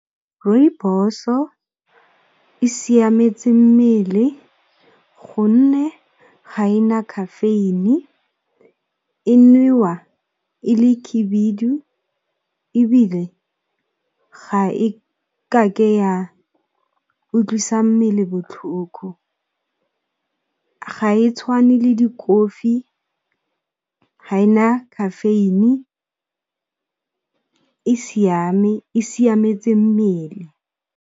Rooibos-o e siametse mmele gonne ga ena caffeine e nwa e le khebedu ebile, ga e kake ya utlwisa mmele botlhoko. Ga e tshwane le dikofi ha e na caffeine e siametse mmele.